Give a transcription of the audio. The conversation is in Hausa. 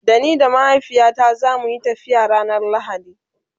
Da ni da mahaifiyata zamuyi tafiya ranar lahadi